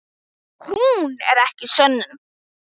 Hún er ekki sönnun.